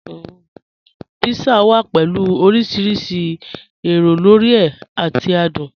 Pizza wà pẹ̀lú ọ̀rìṣìrísì èró lórí è àti àdùn.